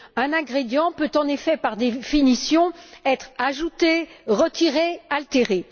Un ingrédient peut, en effet, par définition, être ajouté, retiré ou altéré.